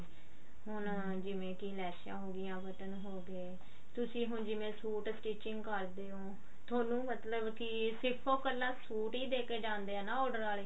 ਹੁਣ ਜਿਵੇਂ ਕੀ ਲੈਸਾਂ ਹੋਗੀਆਂ ਬਟਨ ਹੋਗੇ ਤੁਸੀਂ ਹੁਣ ਜਿਵੇਂ ਸੂਟ stitching ਕਰਦੇ ਹੋ ਥੋਨੂੰ ਮਤਲਬ ਕੀ ਸਿਰਫ ਉਹ ਕੱਲਾ ਸੂਟ ਹੀ ਦੈਕੇ ਜਾਂਦੇ ਆ ਨਾ order ਆਲੇ